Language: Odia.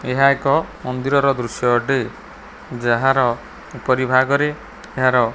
ଏହା ଏକ ମନ୍ଦିରର ଦୃଶ୍ୟ ଅଟେ ଯାହାର ଉପରିଭାଗରେ ଏହାର--